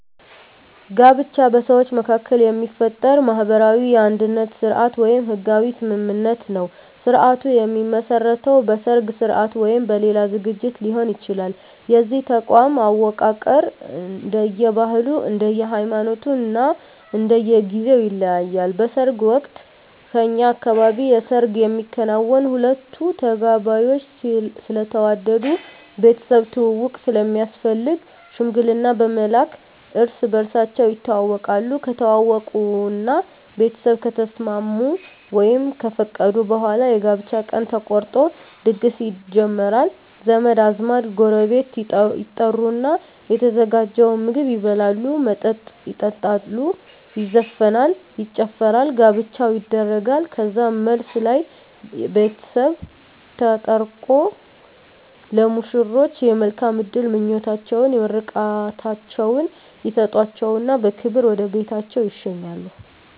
ጋብቻ በሰዎች መካከል የሚፈጠር ማህበራዊ የአንድነት ስርአት ወይም ህጋዊ ስምምነት ነዉ ስርአቱ የሚመሰረተዉ በሰርግ ስርአት ወይም በሌላ ዝግጅት ሊሆን ይችላል የዚህ ተቋም አወቃቀር እንደየ ባህሉ እንደየ ሃይማኖቱ እና እንደየ ጊዜዉ ይለያያል በሰርግ ወቅት በእኛ አካባቢ የሰርግ የሚከናወነዉ ሁለቱ ተጋቢዎች ስለተዋደዱ ቤተሰብ ትዉዉቅ ስለሚያስፈልግ ሽምግልና በመላክ እርስ በርሳቸዉ ይተዋወቃሉ ከተዋወቁእና ቤተሰብ ከተስማሙ ወይም ከፈቀዱ በኋላ የጋብቻ ቀን ተቆርጦ ድግስ ይጀመራል ዘመድ አዝማድ ጎረቤት ይጠሩና የተዘጋጀዉን ምግብ ይበላሉ መጠጥ ይጠጣሉ ይዘፈናል ይጨፈራል ጋብቻዉ ይደረጋል ከዛም መልስ ላይ ቤተሰብ ተጠርቆ ለሙሽሮች የመልካም እድል ምኞታቸዉን ምርቃታቸዉን ይሰጧቸዉና በክብር ወደ ቤታቸዉ ይሸኛሉ